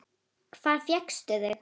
Hvar fékkstu þau?